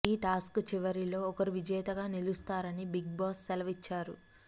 ఈ టాస్క్ చివరిలో ఒకరు విజేతగా నిలుస్తారని బిగ్ బాస్ సెలవిచ్చారు